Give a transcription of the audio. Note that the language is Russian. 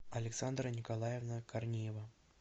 александра николаевна корнеева